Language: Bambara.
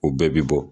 U bɛɛ bi bɔ